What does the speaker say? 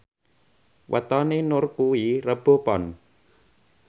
wetone Nur kuwi Rebo Pon